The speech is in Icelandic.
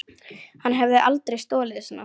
Hann hefði aldrei stolið svona.